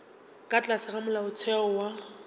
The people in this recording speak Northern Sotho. ka tlase ga molaotheo wa